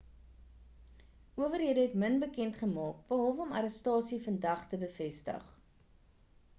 owerhede het min bekend gemaak behalwe om die arrestasie vandag te bevestig